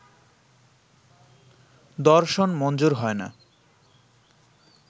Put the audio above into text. দর্শন মঞ্জুর হয় না